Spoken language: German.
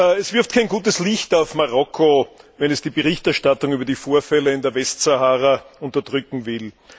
Es wirft kein gutes Licht auf Marokko, wenn es die Berichterstattung über die Vorfälle in der Westsahara unterdrücken will.